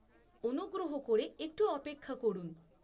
অনুগ্রহ করে একটু অপেক্ষা করুন।